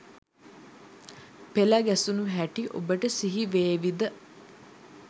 පෙළ ගැසුණු හැටි ඔබට සිහිවේවි ද?